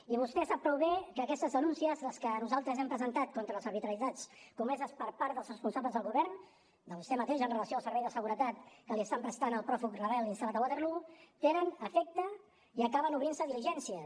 i vostè sap prou bé que aquestes denúncies les que nosaltres hem presentat contra les arbitrarietats comeses per part dels responsables del govern de vostè mateix amb relació al servei de seguretat que li estan prestant al pròfug rebel instal·lat a waterloo tenen efecte i acaben obrint se diligències